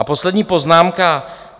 A poslední poznámka.